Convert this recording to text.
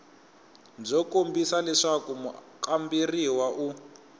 byo kombisa leswaku mukamberiwa u